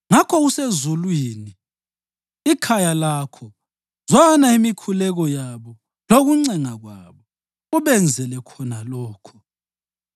ngakho usezulwini, ikhaya lakho zwana imikhuleko yabo lokuncenga kwabo, ubenzele khona lokho.